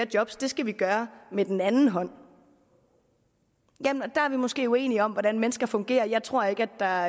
job det skal vi gøre med den anden hånd der er vi måske uenige om hvordan mennesker fungerer jeg tror ikke der